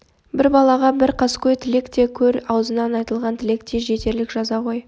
бір балаға бір қаскөй тілек те көр аузынан айтылған тілек те жетерлік жаза ғой